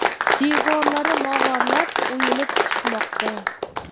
Devorlari mog‘orlab, o‘yilib tushmoqda”.